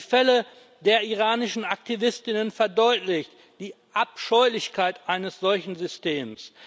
Die Fälle der iranischen Aktivistinnen verdeutlichen die Abscheulichkeit eines solchen Systems.